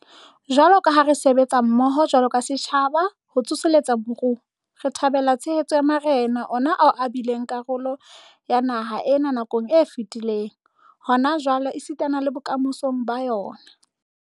Jwalo ka ha re sebetsa mmoho jwalo ka setjhaba ho tsoseletsa moruo, re thabela tshehetso ya marena, ona ao e bileng karolo ya naha ena nakong e fetileng, hona jwale esitana le bokamosong ba yona.